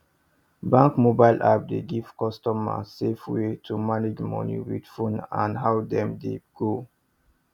bank mobile app dey give customer safe way to manage money with phone any how them dey go